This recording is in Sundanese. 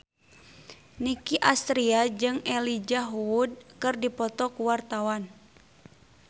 Nicky Astria jeung Elijah Wood keur dipoto ku wartawan